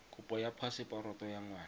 kopo ya phaseporoto ya ngwana